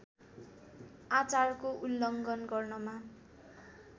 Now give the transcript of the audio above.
आचारको उल्लङ्घन गर्नमा